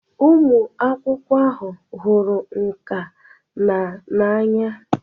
Ụmụ akwụkwọ ahụ hụrụ nka na n'anya.